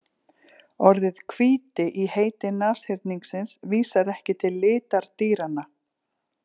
Orðið hvíti í heiti nashyrningsins vísar ekki til litar dýranna.